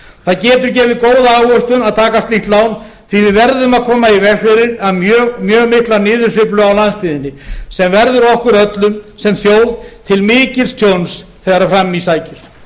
það getur gefið góða ávöxtun að taka slíkt lán því að við verðum að koma í veg fyrir mjög mikla niðursveiflu á landsbyggðinni sem verður okkur öllum sem þjóð til mikils tjóns þegar fram í sækir